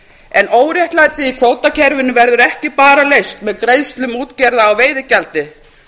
en óréttlætið í kvótakerfinu verður ekki bara leyst með greiðslum útgerða á veiðigjaldi